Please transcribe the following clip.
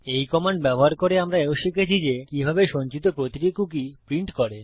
এই কমান্ড ব্যবহার করে আমরা এও শিখেছি যে কিভাবে সঞ্চিত প্রতিটি কুকী প্রিন্ট করে